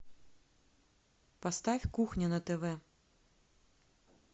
поставь кухня на тв